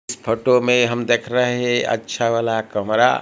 इस फोटो में हम देख रहे हैं अच्छा वाला कमरा।